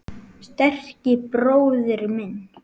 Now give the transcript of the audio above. Sterki bróðir minn.